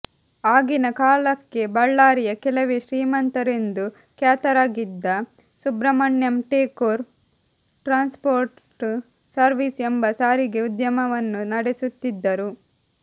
ಆಗಿನ ಕಾಲಕ್ಕೆ ಬಳ್ಳಾರಿಯ ಕೆಲವೇ ಶ್ರೀಮಂತರೆಂದು ಖ್ಯಾತರಾಗಿದ್ದ ಸುಬ್ರಹ್ಮಣ್ಯಂ ಟೇಕೂರ್ ಟ್ರಾನ್ಸ್ಪೋರ್ಟ್ ಸರ್ವೀಸ್ ಎಂಬ ಸಾರಿಗೆ ಉದ್ಯಮವನ್ನು ನಡೆಸುತ್ತಿದ್ದರು